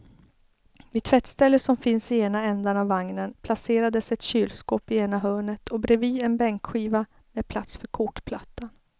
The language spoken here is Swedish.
Vid tvättstället som finns i ena ändan av vagnen placerades ett kylskåp i ena hörnet och bredvid en bänkskiva med plats för kokplattan.